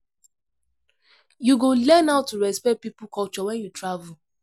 You go learn how to respect people culture when you travel.